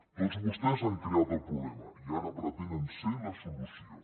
tots vostès han creat el problema i ara pretenen ser la solució